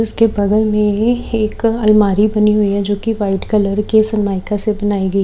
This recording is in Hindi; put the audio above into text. उसके बगल में एक अलमारी बनी हुई है जोकि वाइट कलर के सनमाइका से बनाई गई--